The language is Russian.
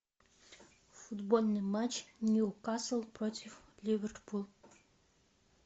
футбольный матч ньюкасл против ливерпуль